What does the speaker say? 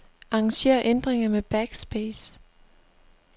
Arranger ændringer med backspace.